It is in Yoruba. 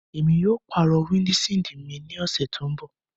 Emi yóò paro windṣiidi mi ni ọsẹ to nbọ